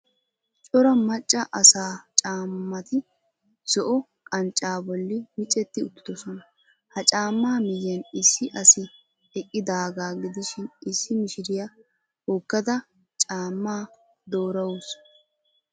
Cora macca asaa caammati zo"o qanccaa bolli micetti uttidosona. Ha caammaa miyan issi asi eqqidaagaa gidishin issi mishiriya hokkada caammaa doorawuus.